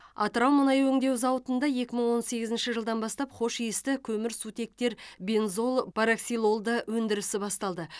атырау мұнай өңдеу зауытында екі мың он сегізінші жылдан бастап хош иісті көмірсутектер бензол параксилолды өндірісі басталды